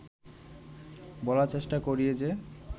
বলার চেষ্টা করি যে